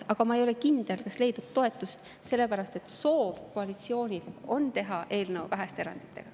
Aga ma ei ole kindel, kas leidub toetust, sellepärast et koalitsiooni soov on teha eelnõu, kus on vähe erandeid.